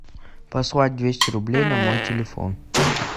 послать двести рублей на мой телефон